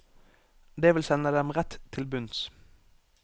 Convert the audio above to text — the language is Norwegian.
Det vil sende dem rett til bunns.